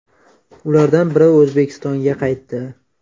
Ulardan biri O‘zbekistonga qaytdi.